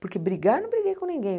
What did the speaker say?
Porque brigar eu não briguei com ninguém.